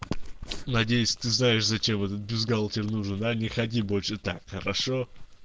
надеюсь ты знаешь зачем это бюстгальтер нужен а не ходи больше так хорошо